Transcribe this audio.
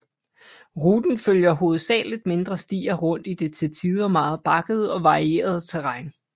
Ruten følger hovedsageligt mindre stier rundt i det til tider meget bakkede og varierede terræn